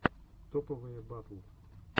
топовые батл